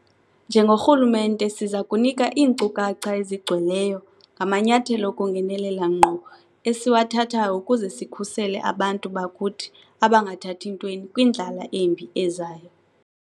Njengorhulumente siza kunika iinkcukacha ezigcweleyo ngamanyathelo okungenelela ngqo esiwathathayo ukuze sikhusele abantu bakuthi abangathathi ntweni kwindlala embi ezayo.